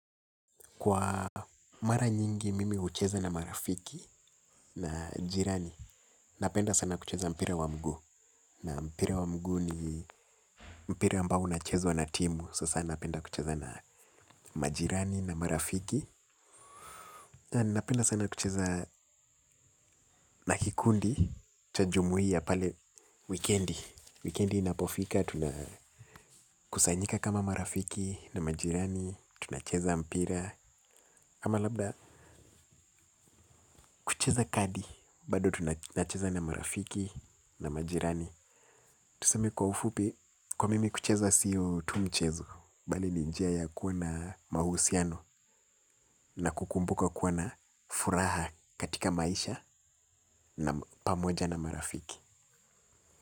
Kwa mara nyingi mimi hucheza na marafiki na jirani. Napenda sana kucheza mpira wa mguu. Na mpira wa mguu ni mpira ambao unachezwa na timu. Sasa napenda kucheza na majirani na marafiki. Napenda sana kucheza na kikundi cha jumuiya pale wikendi. Wikendi inapofika, tunakusanyika kama marafiki na majirani. Tunacheza mpira ama labda kucheza kadi. Bado tunacheza na marafiki na majirani. Tuseme kwa ufupi. Kwa mimi kucheza siyo tu mchezo. Bali ni njia ya kuwa na mahusiano. Na kukumbuka kuwa na furaha katika maisha. Na pamoja na marafiki.